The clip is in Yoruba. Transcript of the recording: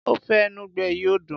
ofe enugbe yìí ò dùn.